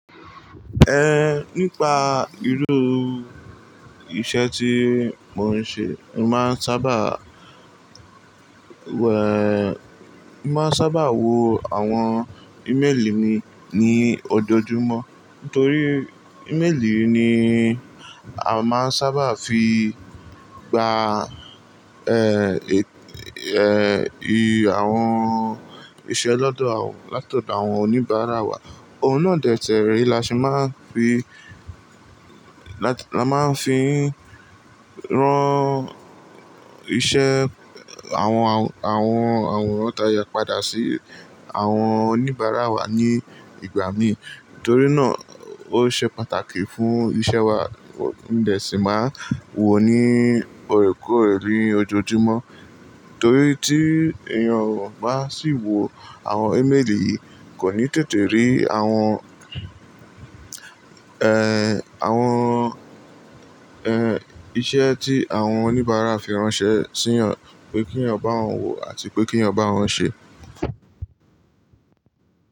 Eh, nípa irú iṣẹ́ tí mò ń ṣe, mo máa ń sábà wèé, máa ń sábà wo àwọn email mi ní ojoojúmọ́. Nítorí email ni a máa ń sábà fi gba, àwọn iṣẹ́ lọ́dọ̀ àwọn, látọ̀dọ̀ àwọn oníbàárà wa. Òun náà dètè rí, la ṣe máa ń fi, la, a máa ń fi rán iṣẹ́ àwọn àwọn, àwọn àwòrán táyà padà sí àwọn oníbàárà wa ní ìgbà mí. Nítorí náà ó ṣe pàtàkì fún iṣẹ́ wa. Ǹdẹ́ ṣì máa wo ní ọ̀rẹ̀kọ̀rẹ̀ ní ojoojúmọ́. Torí tí èèyàn bá sì wo àwọn email yìí kò ní tètè rí àwọn, àwọn, iṣẹ́ tí àwọn oníbàárà fi ránṣẹ́ sí ẹyan, pé kí ẹyan bá wọn wò àti pé kí ẹyan bá wọn ṣe.